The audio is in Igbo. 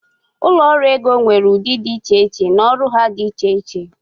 ụlọ ọrụ ego nwere ụdị dị iche iche na ọrụ ha dị iche iche